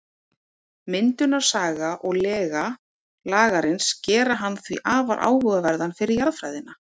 Myndunarsaga og lega Lagarins gera hann því afar áhugaverðan fyrir jarðfræðina.